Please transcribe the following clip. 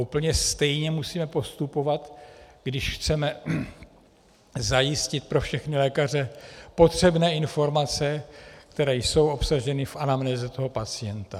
Úplně stejně musíme postupovat, když chceme zajistit pro všechny lékaře potřebné informace, které jsou obsaženy v anamnéze toho pacienta.